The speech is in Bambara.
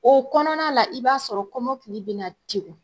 O kɔnɔna la i b'a sɔrɔ kɔmɔkili bɛna degun